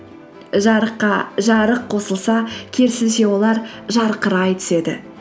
жарыққа жарық қосылса керісінше олар жарқырай түседі